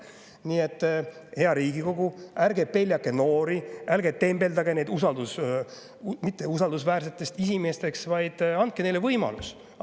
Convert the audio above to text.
Nii et, hea Riigikogu, ärge peljake noori, ärge tembeldage neid mitteusaldusväärseteks inimesteks, vaid andke neile võimalus.